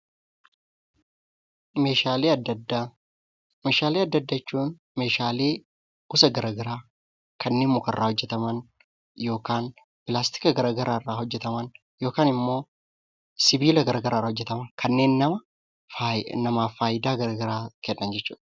Meeshaalee adda addaa jechuun meeshaalee gosa gara garaa kanneen muka irraa, pilaastika garaa garaa irraa yookiin sibiila irraa hojjetamanii kanneen namaaf faayidaa garaa garaa kennan jechuudha.